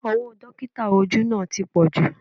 Owó Dọ́kítà ojú náà ti pọju